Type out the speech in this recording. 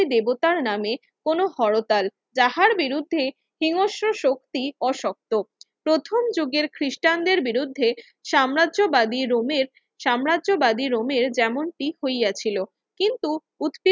দেবতার নামে কোনো হরতাল তাঁহার বিরুদ্ধে হিংস্র শক্তি অশক্ত প্রথম যুগের খ্রিস্টানদের বিরুদ্ধে সাম্রাজ্যবাদীর রোমের সাম্রাজ্যবাদীর রোমের যেমনটি হইয়াছিল কিন্ত উৎ